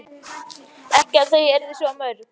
Ekki að þau yrðu svo mörg.